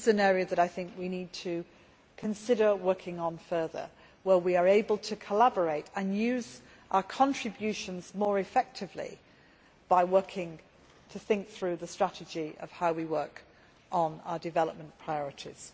This is an area that I think we need to consider working on further, where we are able to collaborate and use our contributions more effectively by thinking through the strategy of how we work on our development priorities.